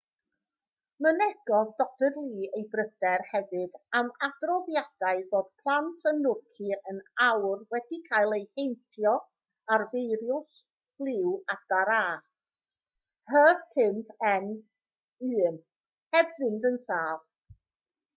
mynegodd dr lee ei bryder hefyd am adroddiadau fod plant yn nhwrci yn awr wedi cael eu heintio â'r feirws ffliw adar a h5n1 heb fynd yn sâl